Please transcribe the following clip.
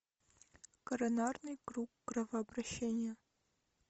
коронарный круг кровообращения